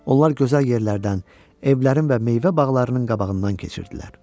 Onlar gözəl yerlərdən, evlərin və meyvə bağlarının qabağından keçirdilər.